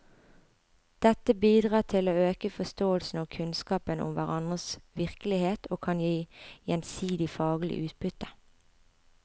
Dette bidrar til å øke forståelsen og kunnskapen om hverandres virkelighet og kan gi gjensidig faglig utbytte.